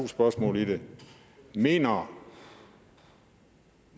spørgsmål i det mener